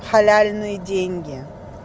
халяльные деньги